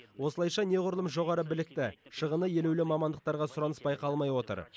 осылайша неғұрлым жоғары білікті шығыны елеулі мамандықтарға сұраныс байқалмай отыр